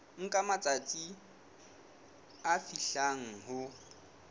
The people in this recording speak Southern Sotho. nka matsatsi a fihlang ho